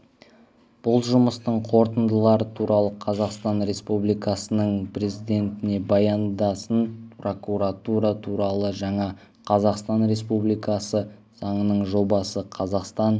бұл жұмыстың қорытындылары туралы қазақстан республикасының президентіне баяндасын прокуратура туралы жаңа қазақстан республикасы заңының жобасы қазақстан